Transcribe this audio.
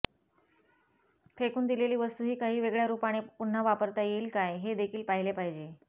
फेकून दिलेली वस्तूही काही वेगळ्या रूपाने पुन्हा वापरता येईल काय हे देखील पाहिले पाहिजे